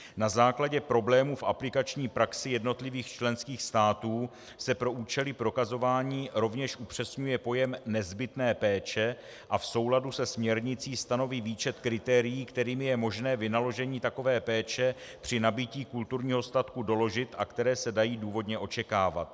Na základě problémů v aplikační praxi jednotlivých členských států se pro účely prokazování rovněž upřesňuje pojem nezbytné péče a v souladu se směrnicí stanoví výčet kritérií, kterými je možné vynaložení takové péče při nabytí kulturního statku doložit a které se dají důvodně očekávat.